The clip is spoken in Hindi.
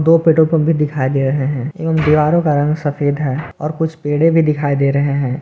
दो पेट्रोल पंप भी दिखाई दे रहे हैं एवं दीवारों का रंग सफेद है और कुछ पेड़े भी दिखाई दे रहे हैं।